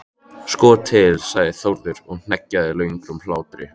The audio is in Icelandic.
Sko til, sagði Þórður og hneggjaði löngum hlátri.